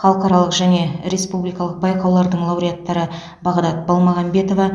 халықаралық және республикалық байқаулардың лауреаттары бағдат балмағамбетова